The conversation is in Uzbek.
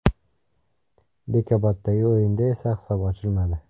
Bekoboddagi o‘yinda esa hisob ochilmadi.